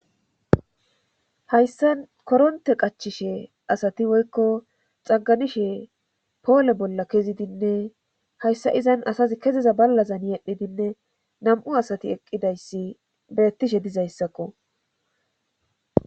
hayssan koronte qachishe asati woykko xagganishe poole bolla kezidinne hayssa izan asazi keziza ballazan yedhidinne nam7u asati eqqidayssi beettishe dizayssakko